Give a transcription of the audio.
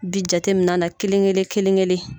Bi jate min'a na kelen kelen kelen kelen